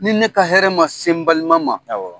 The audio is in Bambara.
Ni ne ka hɛrɛ ma se n balima ma awɔ.